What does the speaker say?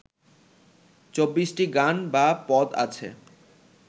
চব্বিশটি গান বা পদ আছে